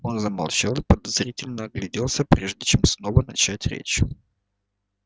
он замолчал и подозрительно огляделся прежде чем снова начать речь